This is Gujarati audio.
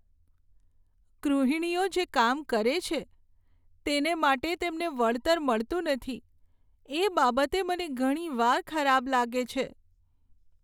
ગૃહિણીઓ જે કામ કરે છે, તેને માટે તેમને વળતર મળતું નથી, એ બાબતે મને ઘણીવાર ખરાબ લાગે છે.